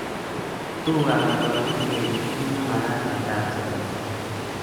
Tugukab oldoindet keger kit nemagat en kapchii agetugul.